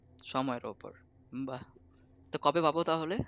সময়ের উপর বাহ কত পাবো তাহলে